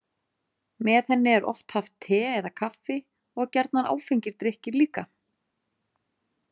Með henni er oft haft te eða kaffi og gjarnan áfengir drykkir líka.